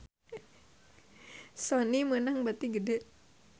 Sony meunang bati gede